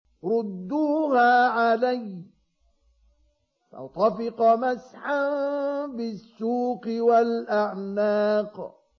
رُدُّوهَا عَلَيَّ ۖ فَطَفِقَ مَسْحًا بِالسُّوقِ وَالْأَعْنَاقِ